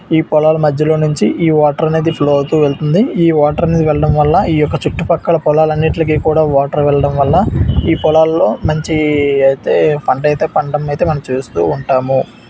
ఈ పొలాల మధ్యలో నుంచి వాటర్ అనేది ఫ్లో అవుతూ వెళ్తుంది ఈ వాటర్ అనేది వెళ్లడం వల్ల ఈ యొక్క ఈ చుట్టుపక్కల పొలాలన్నిట్లకీ కూడ వాటర్ వెళ్లడం వల్ల ఈ పొలాల్లో మంచి అయితేపంట అయితే పండడం మనం చూస్తూ ఉంటాము.